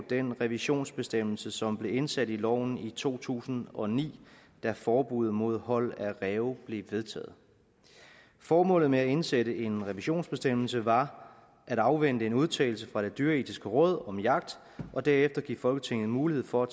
den revisionsbestemmelse som blev indsat i loven i to tusind og ni da forbuddet mod hold af ræve blev vedtaget formålet med at indsætte en revisionsbestemmelse var at afvente en udtalelse fra det dyreetiske råd om jagt og derefter give folketinget mulighed for at